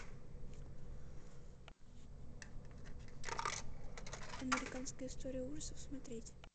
американская история ужасов смотреть